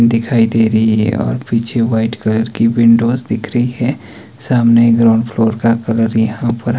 दिखाई दे रही है और पीछे वाइट कलर की विंडोज़ दिख रही है। सामने ग्राउंड फ्लोर का कलर यहां पर--